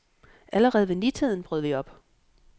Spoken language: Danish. Allerede ved nitiden brød vi op.